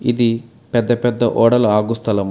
ఇది పెద్ద పెద్ద ఓడలు ఆగు స్థలము.